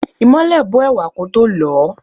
Ìmole bó ẹ̀wà kótó lọ̀ọ́.